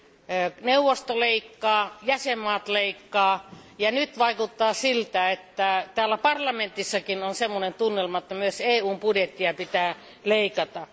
enemmän. Neuvosto leikkaa, jäsenvaltiot leikkaavat, ja nyt vaikuttaa siltä, että täällä parlamentissakin on sellainen tunnelma, että myös EUn budjettia pitää leikata.